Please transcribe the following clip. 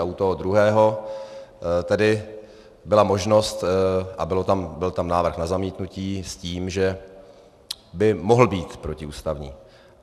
A u toho druhého tedy byla možnost a byl tam návrh na zamítnutí s tím, že by mohl být protiústavní.